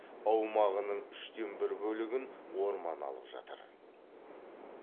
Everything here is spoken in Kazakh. аумағының үштен бір бөлігін орман алып жатыр